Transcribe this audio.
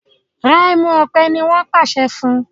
Rà ẹmu òpè! ní wón pàṣẹ fún.